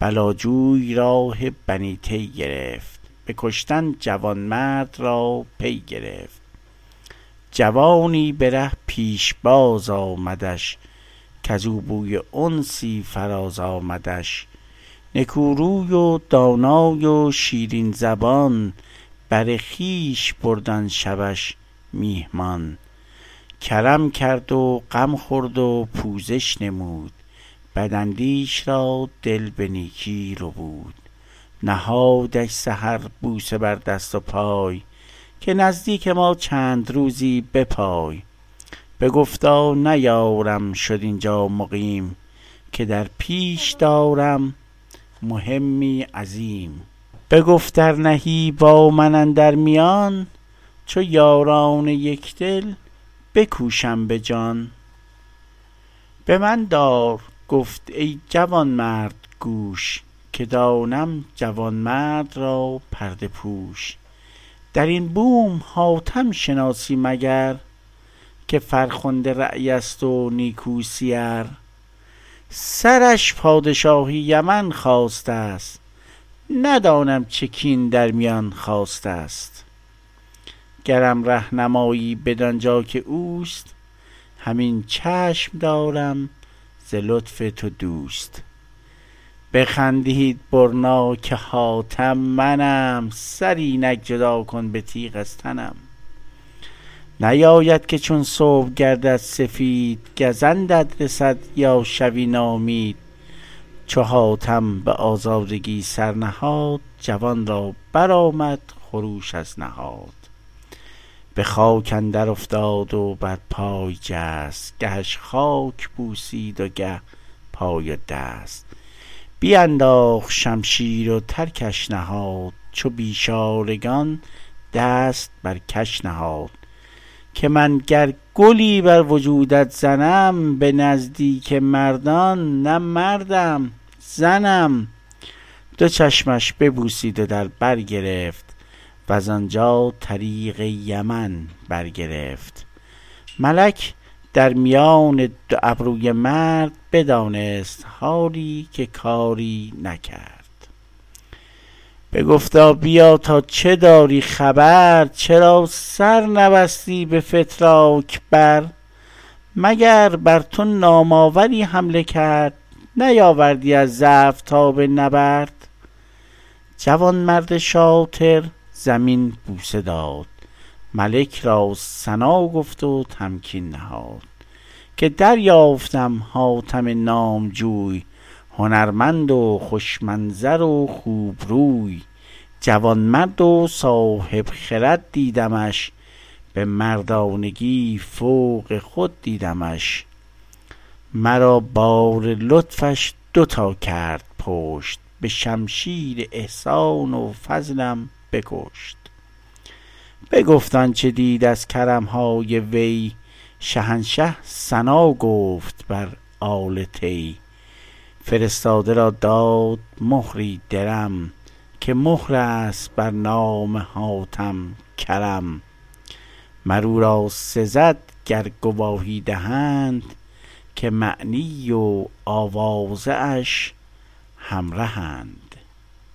بلا جوی راه بنی طی گرفت به کشتن جوانمرد را پی گرفت جوانی به ره پیشباز آمدش کز او بوی انسی فراز آمدش نکو روی و دانا و شیرین زبان بر خویش برد آن شبش میهمان کرم کرد و غم خورد و پوزش نمود بد اندیش را دل به نیکی ربود نهادش سحر بوسه بر دست و پای که نزدیک ما چند روزی بپای بگفتا نیارم شد اینجا مقیم که در پیش دارم مهمی عظیم بگفت ار نهی با من اندر میان چو یاران یکدل بکوشم به جان به من دار گفت ای جوانمرد گوش که دانم جوانمرد را پرده پوش در این بوم حاتم شناسی مگر که فرخنده رای است و نیکو سیر سرش پادشاه یمن خواسته ست ندانم چه کین در میان خاسته ست گرم ره نمایی بدان جا که اوست همین چشم دارم ز لطف تو دوست بخندید برنا که حاتم منم سر اینک جدا کن به تیغ از تنم نباید که چون صبح گردد سفید گزندت رسد یا شوی ناامید چو حاتم به آزادگی سر نهاد جوان را برآمد خروش از نهاد به خاک اندر افتاد و بر پای جست گهش خاک بوسید و گه پای و دست بینداخت شمشیر و ترکش نهاد چو بیچارگان دست بر کش نهاد که من گر گلی بر وجودت زنم به نزدیک مردان نه مردم زنم دو چشمش ببوسید و در بر گرفت وز آنجا طریق یمن بر گرفت ملک در میان دو ابروی مرد بدانست حالی که کاری نکرد بگفتا بیا تا چه داری خبر چرا سر نبستی به فتراک بر مگر بر تو نام آوری حمله کرد نیاوردی از ضعف تاب نبرد جوانمرد شاطر زمین بوسه داد ملک را ثنا گفت و تمکین نهاد که دریافتم حاتم نامجوی هنرمند و خوش منظر و خوبروی جوانمرد و صاحب خرد دیدمش به مردانگی فوق خود دیدمش مرا بار لطفش دو تا کرد پشت به شمشیر احسان و فضلم بکشت بگفت آنچه دید از کرم های وی شهنشه ثنا گفت بر آل طی فرستاده را داد مهری درم که مهر است بر نام حاتم کرم مر او را سزد گر گواهی دهند که معنی و آوازه اش همرهند